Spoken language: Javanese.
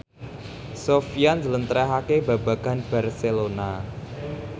Sofyan njlentrehake babagan Barcelona